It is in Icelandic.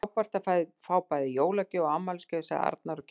Frábært að fá bæði jólagjöf og afmælisgjöf sagði Arnar og kyssti